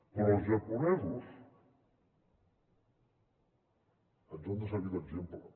però els japonesos ens han de servir d’exemple